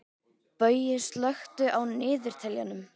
Baui, slökktu á niðurteljaranum.